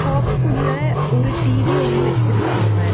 ஷாப்குள்ள ஒரு டி_வி ஒன்னு வச்சிருக்காங்க.